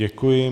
Děkuji.